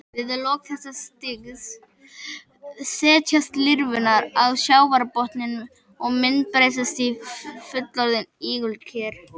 Við lok þessa stigs setjast lirfurnar á sjávarbotninn og myndbreytast í fullorðin ígulker.